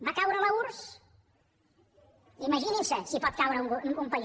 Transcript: va caure l’urss imaginin se si pot caure un país